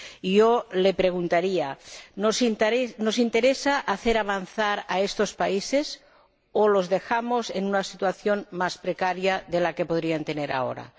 Yo le preguntaría ¿nos interesa hacer avanzar a estos países, o los dejamos en una situación más precaria de la que podrían tener ahora?